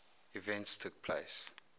events took place